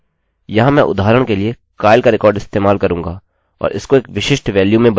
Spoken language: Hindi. यहाँ मैं उदाहरण के लिए kyle का रिकार्ड इस्तेमाल करूँगा और इसको एक विशिष्ट वेल्यू में बदलूँगा